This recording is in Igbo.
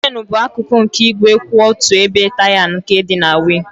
Chènú bụ akụkụ nke igwe kwụ otu ebe taya nke dị na wịịl.